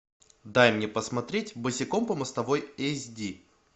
дай мне посмотреть босиком по мостовой эйч ди